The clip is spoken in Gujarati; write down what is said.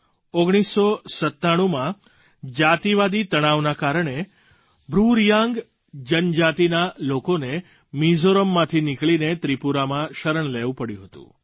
1997માં જાતિવાદી તણાવના કારણે બ્રૂ રિયાંગ જનજાતિના લોકોને મિઝોરમમાંથી નીકળીને ત્રિપુરામાં શરણ લેવું પડ્યું હતું